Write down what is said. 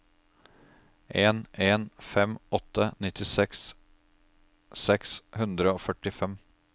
en en fem åtte nittiseks seks hundre og førtifem